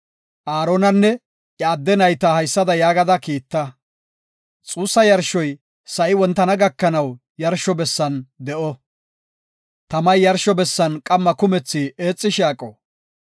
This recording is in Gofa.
Aaronanne iya adde nayta haysada yaagada kiitta; xuussa yarshuwas de7iya wogay haysa; xuussa yarshoy sa7i wontana gakanaw yarsho bessan de7o. Tamay yarsho bessan qamma kumethi eexishe aqo.